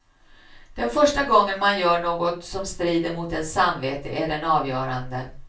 Den första gången man gör något som strider mot ens samvete är den avgörande.